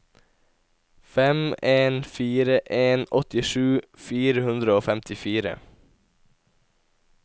fem en fire en åttisju fire hundre og femtifire